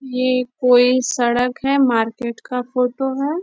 ये कोई सड़क है मार्केट का फोटो है।